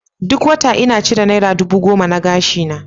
Duk wata inna cire naira dubu goma na gashi na.